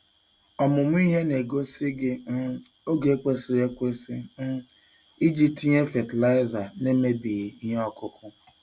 Ọmụmụ ihe na-egosi gị um oge kwesịrị ekwesị um iji tinye fatịlaịza n'emebighị ihe ọkụkụ.